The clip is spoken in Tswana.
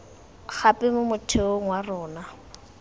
gape mo motheong wa rona